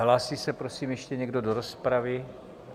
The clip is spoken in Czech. Hlásí se prosím ještě někdo do rozpravy?